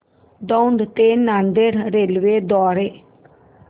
दौंड ते नांदेड रेल्वे द्वारे